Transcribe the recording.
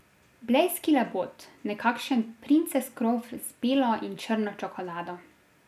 Blejski labod, nekakšen princes krof z belo in črno čokolado.